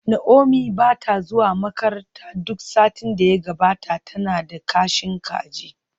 Naomi ba ta zuwa makaranta duk satin da ya gabata, tana da kashin kaji